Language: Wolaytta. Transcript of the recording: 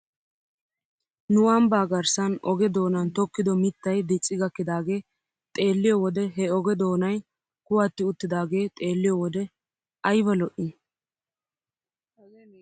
Nu ambbaa garssan oge doonan tokkido mittay dicci gakkidaagee xeelliyoo wode he oge doonay kuwatti uttidaagee xeelliyoo wode ayba lo'ii.